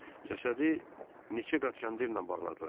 Cəsədi neçə qat kəndirlə bağladılar.